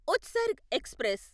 Utsarg express